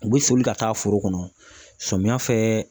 U bɛ soli ka taa foro kɔnɔ samiyɛ fɛ